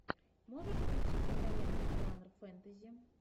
можешь включить киноленту жанр фэнтези